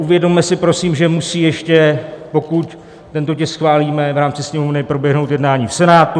Uvědomme si prosím, že musí ještě, pokud tento tisk schválíme v rámci Sněmovny, proběhnout jednání v Senátu.